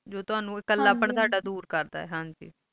ਜੋ ਤੁਹਨੋ ਟੌਹੜਾ ਕੁੱਲਾ ਪੰਡ ਦੂਰ ਕਰਦਾ ਆਈ ਹਨ ਗ